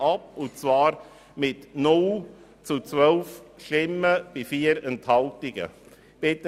Die FiKo lehnt ihn mit 0 zu 12 Stimmen bei 4 Enthaltungen ab.